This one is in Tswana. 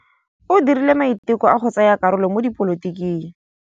O dirile maitekô a go tsaya karolo mo dipolotiking.